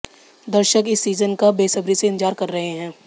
दर्शक इस सीजन का बेसब्री से इंतजार कर रहे हैं